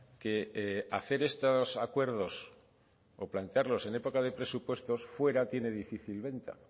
que hacer estos acuerdos o plantearlos en época de presupuestos fuera tiene difícil venta